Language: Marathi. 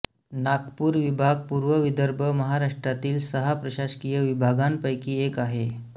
नागपूर विभाग पूर्व विदर्भ महाराष्ट्रातील सहा प्रशासकीय विभागांपैकी एक आहे